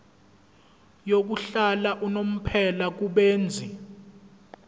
yokuhlala unomphela kubenzi